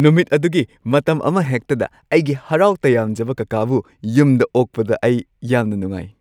ꯅꯨꯃꯤꯠ ꯑꯗꯨꯒꯤ ꯃꯇꯝ ꯑꯃꯍꯦꯛꯇꯗ ꯑꯩꯒꯤ ꯍꯔꯥꯎ-ꯇꯌꯥꯝꯖꯕ ꯀꯥꯀꯥꯕꯨ ꯌꯨꯝꯗ ꯑꯣꯛꯄꯗ ꯑꯩ ꯌꯥꯝꯅ ꯅꯨꯡꯉꯥꯏ꯫